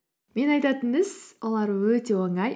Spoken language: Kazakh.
мен айтатын іс олар өте оңай